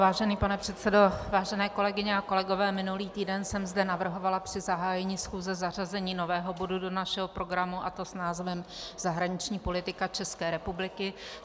Vážený pane předsedo, vážené kolegyně a kolegové, minulý týden jsem zde navrhovala při zahájení schůze zařazení nového bodu do našeho programu, a to s názvem Zahraniční politika České republiky.